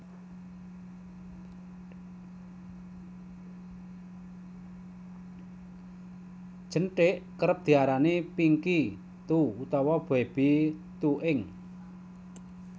Jenthik Kerep diarani Pinky toe utawa Baby toe ing